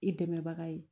I dɛmɛbaga ye